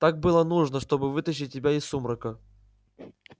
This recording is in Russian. так было нужно чтобы вытащить тебя из сумрака